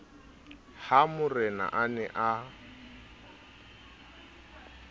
ha morena a ne a